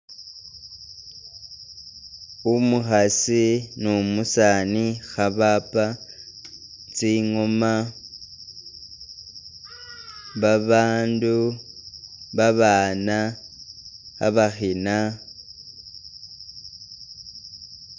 Umukhasi nu musaani kha bapa tsingoma ba bandu, baana khabakhina